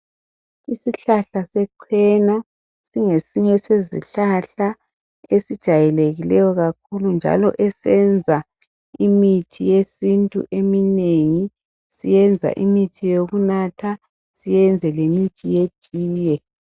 Isihlahla sechena singesinye sezihlahla esijayelekileyo kakhulu, njalo esenza imithi yesintu eminengi, senza imithi yokunatha senze lemithi yetiye.